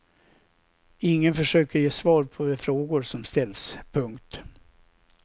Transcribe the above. Ingen försöker ge svar på de frågor som ställs. punkt